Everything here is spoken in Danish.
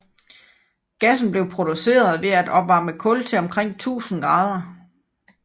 Gassen bliver produceret ved at opvarme kul til omkring 1000 grader